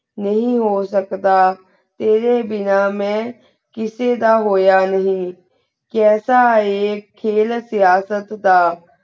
ਨਹੀ ਹੋ ਸਕਦਾ ਤੇਰੇ ਬਿਨਾ ਮੈਂ ਕਿਸੇ ਦਾ ਹੋਯਾ ਨਹੀ ਕਾਯ੍ਸਾ ਏ ਖੇਲ ਸਿਯਾਸਤ ਦਾ